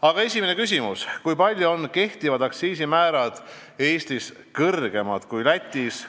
Aga esimene küsimus: "Kui palju on kehtivad aktsiisimäärad Eestis kõrgemad kui Lätis?